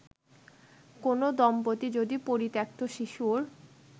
কোন দম্পতি যদি পরিত্যক্ত শিশুর